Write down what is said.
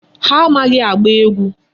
Ha amaghị agba egwu.